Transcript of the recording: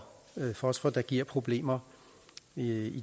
fosfor der giver problemer i